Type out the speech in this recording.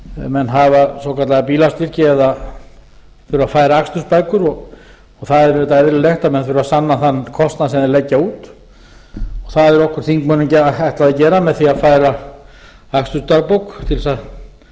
menn hafa svokallaða bílastyrki eða þurfa að færa akstursbækur og það er auðvitað eðlilegt að menn þurfi að sanna þann kostnað sem þeir leggja út það er okkur þingmönnum ætlað að gera með því að færa akstursdagbók til þess að